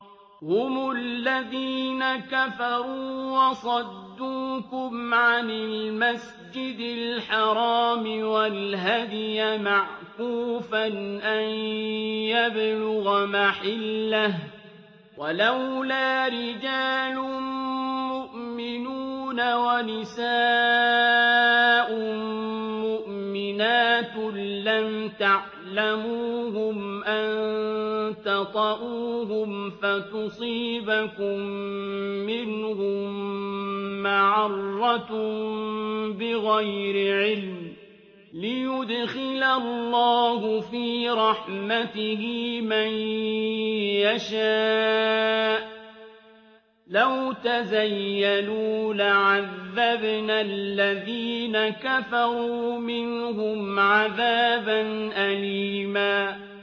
هُمُ الَّذِينَ كَفَرُوا وَصَدُّوكُمْ عَنِ الْمَسْجِدِ الْحَرَامِ وَالْهَدْيَ مَعْكُوفًا أَن يَبْلُغَ مَحِلَّهُ ۚ وَلَوْلَا رِجَالٌ مُّؤْمِنُونَ وَنِسَاءٌ مُّؤْمِنَاتٌ لَّمْ تَعْلَمُوهُمْ أَن تَطَئُوهُمْ فَتُصِيبَكُم مِّنْهُم مَّعَرَّةٌ بِغَيْرِ عِلْمٍ ۖ لِّيُدْخِلَ اللَّهُ فِي رَحْمَتِهِ مَن يَشَاءُ ۚ لَوْ تَزَيَّلُوا لَعَذَّبْنَا الَّذِينَ كَفَرُوا مِنْهُمْ عَذَابًا أَلِيمًا